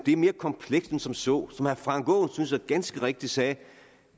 er mere komplekst end som så som herre frank aaen synes jeg ganske rigtigt sagde